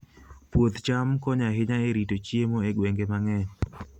Puoth cham konyo ahinya e rito chiemo e gwenge mang'eny.